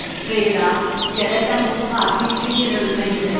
Xeyr a, gələsən bunun xatiri üçün yenə ölümə gedəsən.